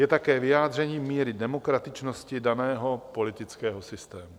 Je také vyjádřením míry demokratičnosti daného politického systému.